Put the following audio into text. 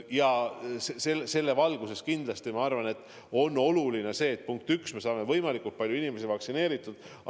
Ja selle valguses on kindlasti oluline, punkt üks, et me saame võimalikult palju inimesi vaktsineeritud.